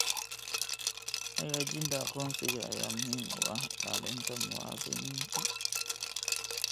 Xaqiijinta aqoonsiga ayaa muhiim u ah ilaalinta muwaadiniinta.